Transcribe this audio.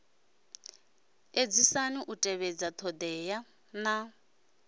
edzisani u tevhedza thodea na